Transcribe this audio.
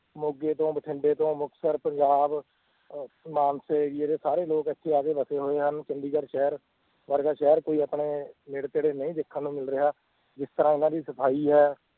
ਮੋਗੇ ਤੋਂ, ਬਠਿੰਡੇ ਤੋਂ, ਮੁਕਤਸਰ, ਪੰਜਾਬ ਅਹ ਮਾਨਸੇ ਜੇਡੇ ਸਾਰੇ ਲੋਕ ਇੱਥੇ ਆ ਕੇ ਵਸੇ ਹੋਏ ਹਨ, ਚੰਡੀਗੜ੍ਹ ਸ਼ਹਿਰ ਵਰਗਾ ਸ਼ਹਿਰ ਕੋਈ ਆਪਣੇ ਨੇੜੇ ਤੇੜੇ ਨਹੀਂ ਦੇਖਣ ਨੂੰ ਮਿਲ ਰਿਹਾ ਜਿਸ ਤਰ੍ਹਾਂ ਇਹਨਾਂ ਦੀ ਸਫ਼ਾਈ ਹੈ